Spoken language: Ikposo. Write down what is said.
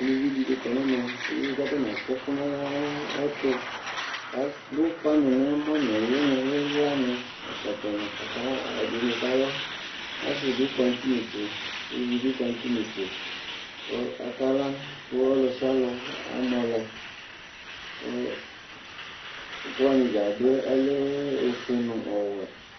uluvi di ni kɔ n'ɛmɛ kò atani atsi ɛkò n'ɛtu k'adu ufa ni n'ɛmɔ no uli ni ila ni ɛkɔtɔ ni k'aka ɛdini kala asi bi kɔ no t'inetse uluvi bi kɔ no t'inetse kò aka la kò ɔlò sialò amɔ lɛ kò ɛkò wani dza adu yɛ ɔlɛ ofue no ɔwɛ